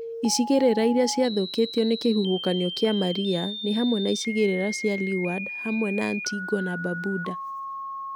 Icigĩrĩra iria ciathũkĩtio nĩ kĩhuhũkanio kĩa Maria nĩ hamwe na icigĩrĩra cia Leeward hamwe na Antigua na Barbuda.